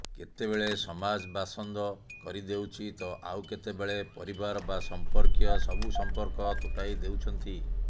କେତେବେଳେ ସମାଜ ବାସନ୍ଦ କରିଦେଉଛି ତ ଆଉ କେତେବେଳେ ପରିବାର ବା ସମ୍ପର୍କୀୟ ସବୁ ସମ୍ପର୍କ ତୁଟାଇ ଦେଉଛନ୍ତି